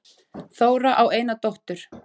Þóra á eina dóttur.